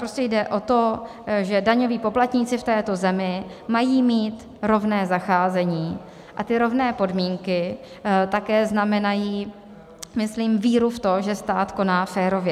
Prostě jde o to, že daňoví poplatníci v této zemi mají mít rovné zacházení, a ty rovné podmínky také znamenají myslím víru v to, že stát koná férově.